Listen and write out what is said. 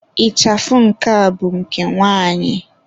Ịchafụ nke a bụ nke nwanyị.